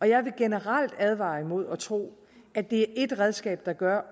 jeg vil generelt advare imod at tro at det er ét redskab der gør